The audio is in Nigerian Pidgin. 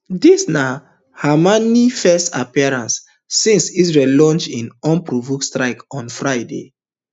dis na khamenei first appearance since israel launch in unprovoked strikes on friday